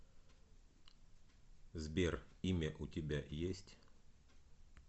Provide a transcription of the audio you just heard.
сбер имя у тебя есть